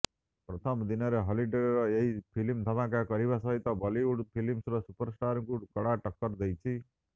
ପ୍ରଥମ ଦିନରେ ହଲିଉଡ୍ର ଏହି ଫିଲ୍ମ ଧମାକା କରିବା ସହିତ ବଲିଉଡ୍ ଫିଲ୍ମର ସୁପରଷ୍ଟାର୍ଙ୍କୁ କଡ଼ା ଟକ୍କର ଦେଇଛି